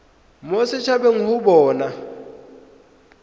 mo set habeng go bona